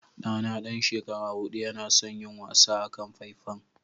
Ɗana ɗan shekara huɗu yana son yin wasa akan faifan.